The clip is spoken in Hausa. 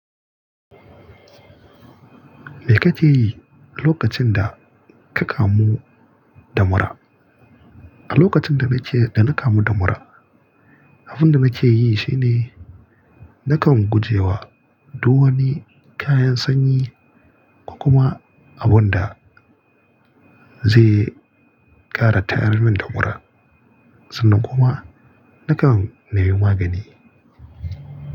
Me ka ke yi lokacin da ka kamu da mura? A lokacin da na ke, da na kamu da mura, abin da na ke yi shine na kan gujewa duk wani kayan sanyi ko kuma abun da zai ƙara tayar mun da mura. Sannan kuma na kan nima magani.